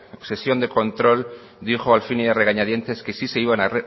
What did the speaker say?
una sesión de control dijo al fin y a regañadientes que sí se iban a